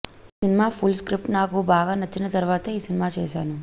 ఈ cinema full script నాకు బాగా నచ్చిన తరువాతే ఈ సినిమా చేశాను